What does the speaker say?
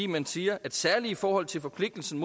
man siger særligt i forhold til forpligtelsen